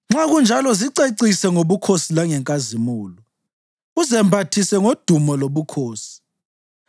Nxa kunjalo zicecise ngobukhosi langenkazimulo, uzembathise ngodumo lobukhosi.